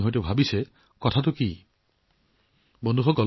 আপুনি নিশ্চয় ভাবিছে যে এইটোৱেই সকলো নেকি